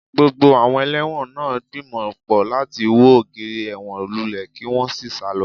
Gbogbo àwọn ẹlẹ́wọ̀n náà ń gbìmọ̀ pọ̀ láti wo ògiri ẹ̀wọ̀n lulẹ̀ kí wọ́n sì sá lọ